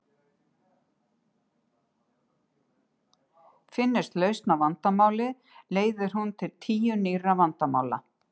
Finnist lausn á vandamáli leiðir hún til tíu nýrra vandamála.